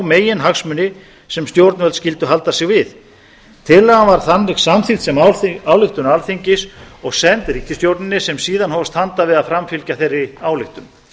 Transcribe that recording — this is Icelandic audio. meginhagsmuni sem stjórnvöld skyldu halda sig við tillagan var þannig samþykkt sem ályktun alþingis og send ríkisstjórninni sem síðan hófst handa við að framfylgja þeirri ályktun